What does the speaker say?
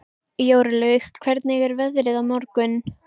Jórlaug, hvernig er veðrið á morgun?